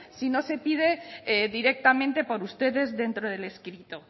si no se pide directamente por ustedes dentro del escrito